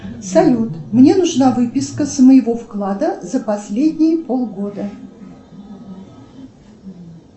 салют мне нужна выписка с моего вклада за последние полгода